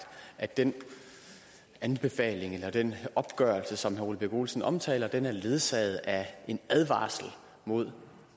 at den den opgørelse som herre ole birk olesen omtaler er ledsaget af en advarsel mod